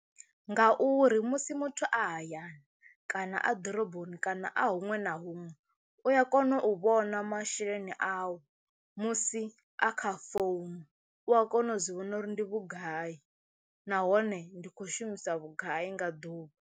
Ngauri musi muthu a hayani kana a ḓoroboni kana a huṅwe na huṅwe u a kona u vhona masheleni awu musi a kha founu u a kona u zwi vhona uri ndi vhugai nahone ndi khou shumisa vhugai nga ḓuvha.